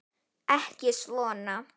Ekki svona.